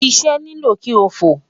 Sisẹ nilo ki o fo